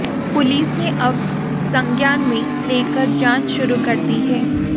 police ने अब संज्ञान में लेकर जांच शुरु कर दी है